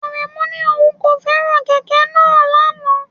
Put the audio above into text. Aremu ní òun kò fẹ́ràn kẹ̀kẹ́ náà lánàá.